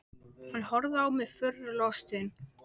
Hann horfði á mig furðu lostinn.